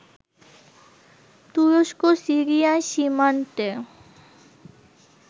তুরস্ক-সিরিয়ার সীমান্তে